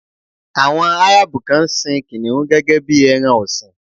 Àwọn Árábù kan ń sin kìnnìún gẹ́gẹ́ bí ẹran ọ̀sìn.